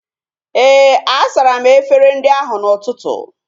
Éè, a sara m efere ndị ahu n'ụtụtụ